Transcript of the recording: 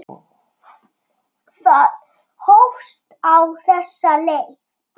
Það hófst á þessa leið.